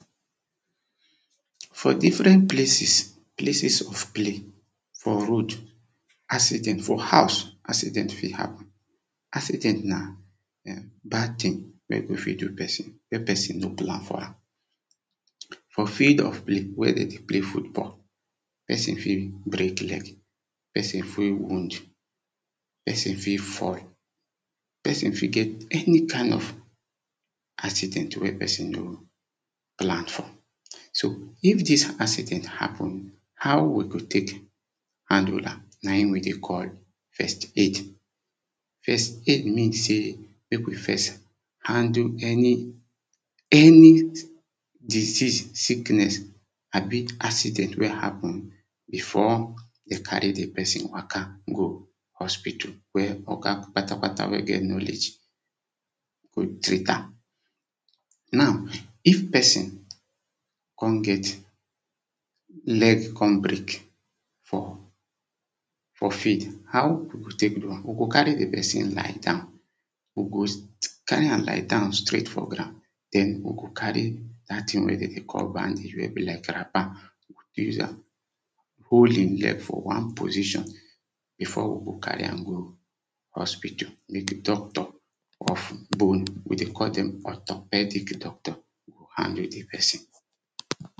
For different places, places of play for road accident for house accident fit happen. Accident na um bad thing wen go fit do person wen person no plan for am. For field of play, wen dem dey play football, person fit break leg, person fit wound. Person fit fall, person fit get any kind of accident wen person no plan for. So if dis accident happen, how we go take handle am? Na im we dey call first aid. first aid mean sey make we first handle any any disease, sickness abi accident wey happen before dem carry di person waka go hospital. Wen oga kpata kpata wey get knowledge go treat am, now if person come get, leg come break for for field how we go take do am? We go carry di person lie down We go carry am lie down straight for ground den we go carry that thing wey demm dey call bandage wey be like wrapper use am hold im leg for one position before we go carry am go hospital. Make doctor of bone we dey call dem orthopedic doctor go handle di person.